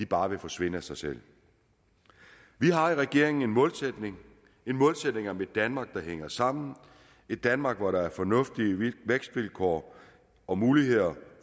bare vil forsvinde af sig selv vi har i regeringen en målsætning målsætning om et danmark der hænger sammen et danmark hvor der er fornuftige vækstvilkår og muligheder